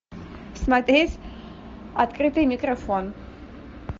смотреть открытый микрофон